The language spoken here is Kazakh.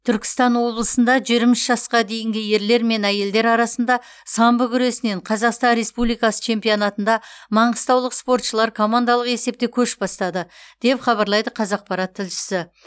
түркістан облысында жиырма үш жасқа дейінгі ерлер мен әйелдер арасында самбо күресінен қазақстан республикасы чемпионатында маңғыстаулық спортшылар командалық есепте көш бастады деп хабарлайды қазақпарат тілшісі